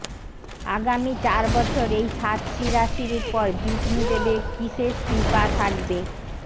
আগামী চার বছর এই সাতটি রাশির ওপর বিষ্ণু দেবের বিশেষ কৃপা থাকবে